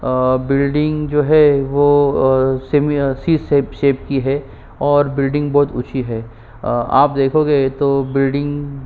अ building जो है वो अ सेम य सी शेप शेप की है और बिल्डिंग बहुत ची है आप देखोगे तो बिल्डिंग --